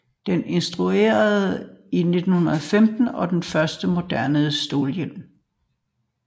Den introduceredes i 1915 og var den første moderne stålhjelm